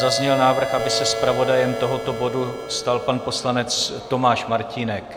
Zazněl návrh, aby se zpravodajem tohoto bodu stal pan poslanec Tomáš Martínek.